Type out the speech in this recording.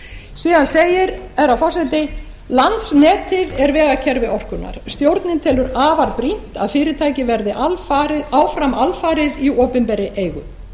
síðan segir herra forseti landsnetið er vegakerfi orkunnar stjórnin telur afar brýnt að fyrirtækið verði áfram alfarið í opinberri eigu